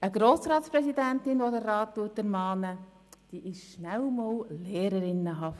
Eine Grossratspräsidentin, die den Rat ermahnt, ist schnell einmal lehrerinnenhaft.